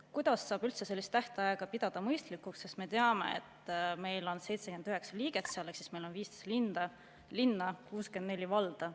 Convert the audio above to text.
Kuidas saab üldse sellist tähtaega pidada mõistlikuks, sest me teame, et meil on seal 79 liiget ehk meil on 15 linna ja 64 valda?